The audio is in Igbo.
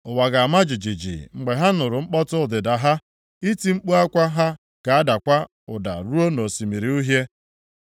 Ụwa ga-ama jijiji mgbe ha nụrụ mkpọtụ ọdịda ha; iti mkpu akwa ha ga-adakwa ụda ruo nʼOsimiri Uhie.